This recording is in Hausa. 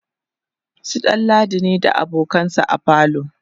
su ɗanladi ne da abokansa a falo